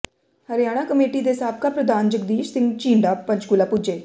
Haryana committee ਦੇ ਸਾਬਕਾ ਪ੍ਰਧਾਨ ਜਗਦੀਸ਼ ਸਿੰਘ ਝੀਂਡਾ ਪੰਚਕੂਲਾ ਪੁੱਜੇ